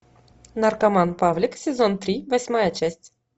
наркоман павлик сезон три восьмая часть